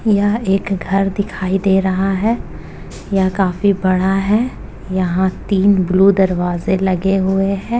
यह एक घर दिखाई दे रहा है। यह काफी बड़ा है। यहाँ तीन ब्लू दरवाजे लगे हुए हैं।